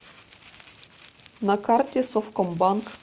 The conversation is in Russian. на карте совкомбанк